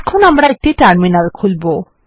এখন আমরা একটি টার্মিনাল খুলবো